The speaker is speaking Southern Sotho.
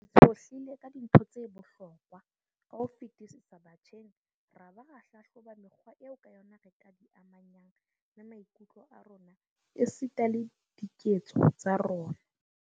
Re tshohlile ka dintho tse bohlokwa ka ho fetisisa batjheng ra ba ra hlahloba mekgwa eo ka yona re ka di amanyang le maikutlo a rona esita le diketso tsa rona.